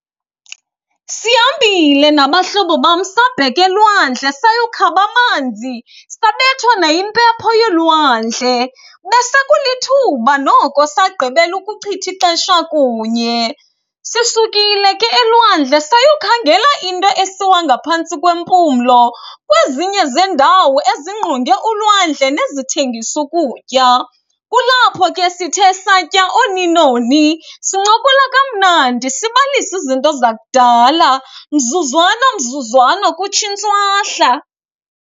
Sihambile nabahlobo bam sabheka elwandle sayokhaba amanzi, sabethwa nayimpepho yolwandle. Besekulithuba noko sagqibela ukuchitha ixesha kunye. Sisukile ke elwandle sayokhangela into esiwa ngaphantsi kwempumlo kwezinye zeendawo ezingqonge ulwandle nezithengisa ukutya. Kulapho ke sithe satya ooni nooni, sincokola kamnandi sibalisa izinto zakudala, mzuzwana mzuzwana kutsho intswahla.